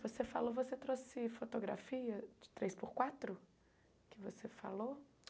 Você falou, você trouxe fotografia de três por quatro que você falou?